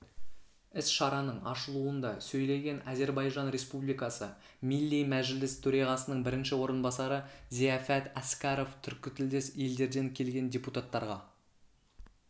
іс-шараның ашылуында сөйлеген әзербайжан республикасы милли мәжлис төрағасының бірінші орынбасары зияфәт әскәров түркітілдес елдерден келген депутаттарға